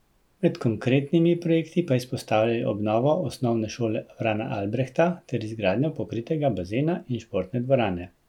Med konkretnimi projekti pa izpostavljajo obnovo Osnovne šole Frana Albrehta ter izgradnjo pokritega bazena in športne dvorane.